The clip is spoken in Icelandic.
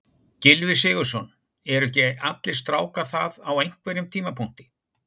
Gylfi Sigurðsson: Eru ekki allir strákar það á einhverjum tímapunkti?